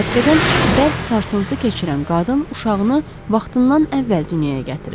Hadisədən bərk sarsıntı keçirən qadın uşağını vaxtından əvvəl dünyaya gətirir.